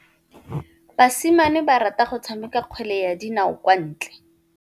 Basimane ba rata go tshameka kgwele ya dinaô kwa ntle.